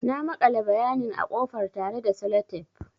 Na makale bayanin a ƙofar tare da Sellotape.